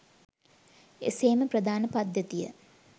එසේම ප්‍රධාන පද්ධතිය